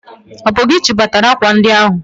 Ọ bụ gị chịbatara akwa ndi ahụ!